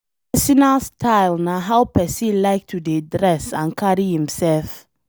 Personal style na how pesin like to dey dress and carry imself